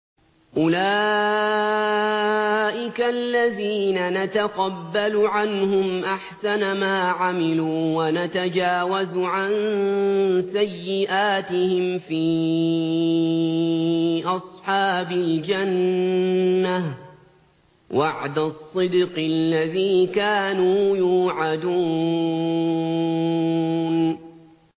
أُولَٰئِكَ الَّذِينَ نَتَقَبَّلُ عَنْهُمْ أَحْسَنَ مَا عَمِلُوا وَنَتَجَاوَزُ عَن سَيِّئَاتِهِمْ فِي أَصْحَابِ الْجَنَّةِ ۖ وَعْدَ الصِّدْقِ الَّذِي كَانُوا يُوعَدُونَ